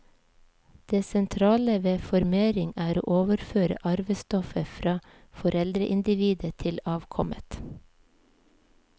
Det sentrale ved formering er å overføre arvestoffet fra foreldreindividet til avkommet.